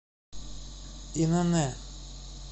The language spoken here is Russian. инн